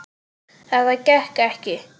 Þetta gekk ekki.